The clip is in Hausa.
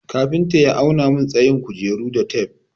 Kafinta ya auna mun tsayin kujeru da tef.